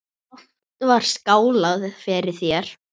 Oft var skálað fyrir þér.